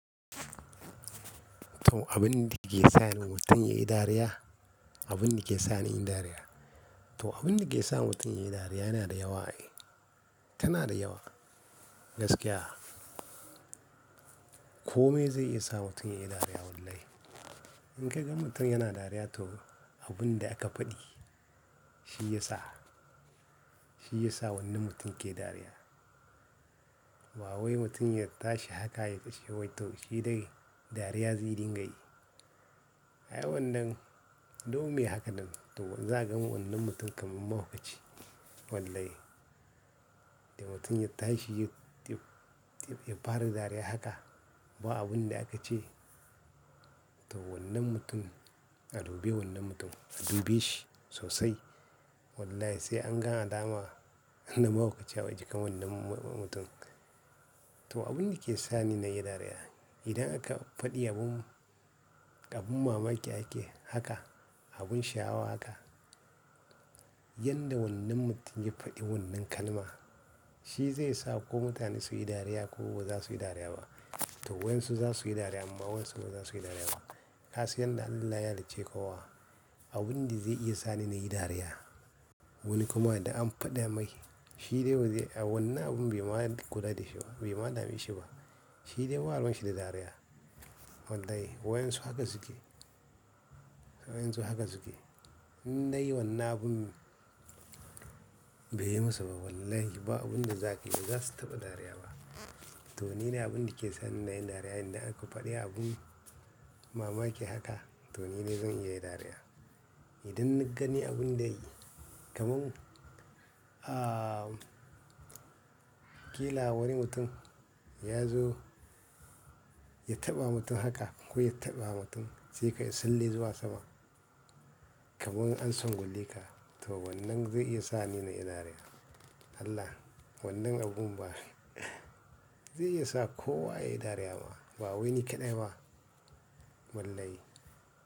To abun da ke sa ni mutum ya yi dariya, abun da ke sa ni in yi dariya. To abun da ke sa mutum ya yi dariya yana da yawa eh, tana da yawa gaskiya. Komai zai iya sa mutum ya yi dariya wallahi. In ka ga mutum yana dariya to abun da aka faɗi shi ya sa, shi ya sa wannan mutum ke dariya. Ba wai mutum ya tashi haka ya kashe wani to shi dai dariya zai dinga yi. A a wannan, dole haka nan, to zan ga wannan mutum kamar mahaukaci wallahi. Da mutum ya tashi ya, ya fara dariya haka ba abun da aka ce to wannan mutum a dube wannan mutum, a dube shi sosai wallahi sai an ga alama na mahaukaci a jikin wannan mu-mutum. To abun da ke sa ni na yi dariya, idan aka faɗi abun, abun mamaki ake haka, abun sha'awa haka, yanda wannan mutum ya faɗi wannan kalma shi zai sa ko mutane su yi dariya ko ba za su yi dariya ba. To wayan su za su yi dariya amma wayan su ba za su yi dariya ba. Ka san yanda Allah ya halicce kowa abun da zai iya sa ni na yi dariya. Wani kuma da an faɗa mai shi dai a wannan abun bai ma kula da shi ba, bai ma dame shi ba. Shi dai baruwan shi da dariya wallahi wayan su haka suke, wayan su haka suke. In na yi wannan abun bai yi masa ba wallahi ba abun da za ka, za su taɓa dariya ba. To ni ne abun da ke sa ni na yi dariya idan aka faɗi abun mamaki haka to ni ne zan iya dariya. Idan na gani abun da ya yi kamar, ah, ƙila wani mutum ya zo ya taɓa mutum haka ko ya taɓa mutum sai ka salli zuwa sama. Kamar an tsingu leka to wannan zai iya sa ni na yi dariya. Allah, wannan abun ba zai iya sa kowa ya yi dariya ba, ba wai ni kaɗai ba wallahi.